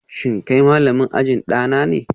Shin kai malamin ajin dana ne?